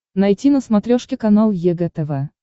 найти на смотрешке канал егэ тв